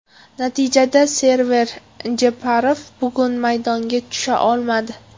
Natijada Server Jeparov bugun maydonga tusha olmadi.